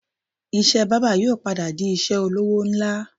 Iṣẹ́ bábà yóò padà di iṣẹ́ olówó ńlá